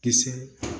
Kisɛ